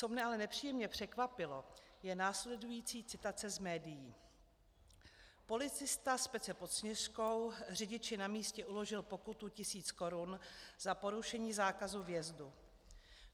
Co mě ale nepříjemně překvapilo, je následující citace z médií: Policista z Pece pod Sněžkou řidiči na místě uložil pokutu tisíc korun za porušení zákazu vjezdu.